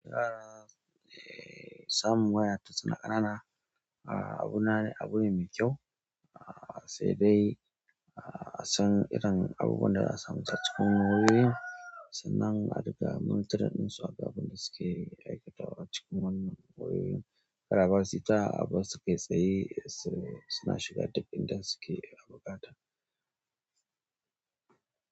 Eh, samun waya tun suna ƙanana, abu na ne, abune mai kyau. Sai dai ah a san irin abubuwan da za'a sa musu a cikin wayoyin. Sannan a riƙa monitoring ɗin su akan abun da suke aikatawa a cikin wannan wayoyin. Kar a basu ita a bar su kai tsaye, suna shiga duk inda suke da buƙata.